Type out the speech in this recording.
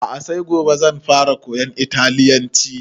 A'a sai gobe zan fara koyan italyanci